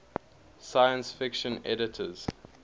science fiction editors